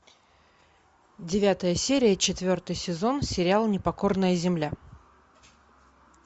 девятая серия четвертый сезон сериал непокорная земля